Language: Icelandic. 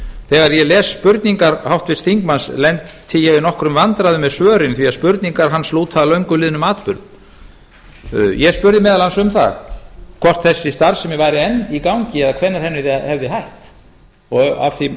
þegar ég las spurningar háttvirts þingmanns lenti ég í nokkrum vandræðum með svörin því að spurningar hans lúta að löngu liðnum atburðum ég spurði meðal annars um það hvort þessi starfsemi væri enn í gangi eða hvenær henni hefði verið hætt af því